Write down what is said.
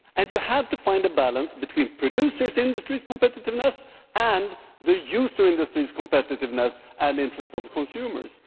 You have to find a balance between the producer industries' competitiveness and the user industries' competitiveness, and the interests of the consumers.